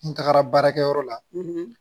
N tagara baarakɛyɔrɔ la